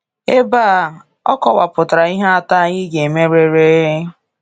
Ebe a, o kọwapụtara ihe atọ anyị ga-emerịrị.